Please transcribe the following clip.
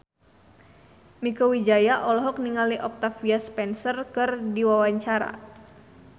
Mieke Wijaya olohok ningali Octavia Spencer keur diwawancara